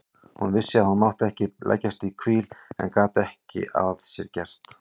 Hún vissi að hún mátti ekki leggjast í víl en gat ekki að sér gert.